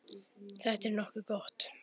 Þetta er nokkuð gott.